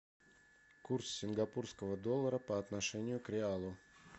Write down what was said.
курс сингапурского доллара по отношению к реалу